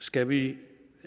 skal vi